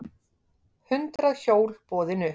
Hundrað hjól boðin upp